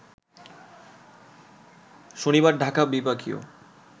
শনিবার ঢাকা বিভাগীয়